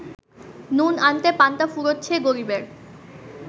নুন আনতে পান্তা ফুরোচ্ছে গরিবের